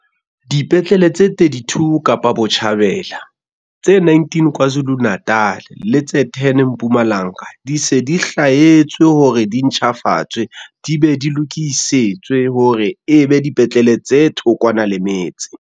Dipetlele tse 32 Kapa Botjhabela, tse 19 KwaZulu-Natal le tse 10 Mpumalanga di se di hlwaetswe hore di ntjhafatswe di be di lokisetswe hore e be dipetlele tse thokwana le metse.